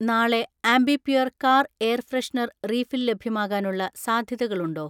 നാളെ Ambi Pur‍ car air freshener refill ലഭ്യമാകാനുള്ള സാധ്യതകളുണ്ടോ?